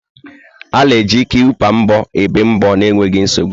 A na-eji kilpa mbọ ébé mbọ nwa n'enweghị nsogbu.